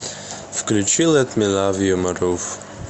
включи лет ми лав ю марув